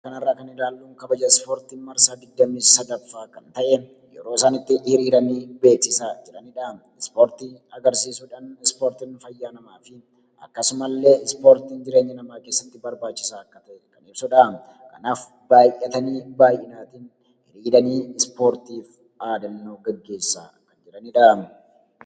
Suuraa kana irraa kan ilaallu kabaja ispoortii marsaa digdamii sadaffaa kan ta'e, yeroo isaan itti hiriiranii beeksisaa jiranidha. Isportii agarsiisuudhan ispoortiin fayyaa namaafi akkasuma illee ispoortiin jireenya namaa keessatti barbaachisaa akka ta'e kan ibsudha. Kanaaf baay'atanii, hiriiranii ispoortiif dhaadannoo gaggeessaa jiranidha.